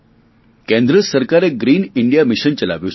કેન્દ્ર સરકારે green India mission ચલાવ્યું છે